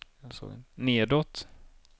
nedåt